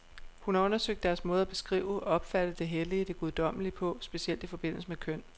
Hun har undersøgt deres måde at beskrive, opfatte det hellige, det guddommelige på, specielt i forbindelse med køn.